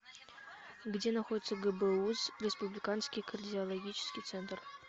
где находится гбуз республиканский кардиологический центр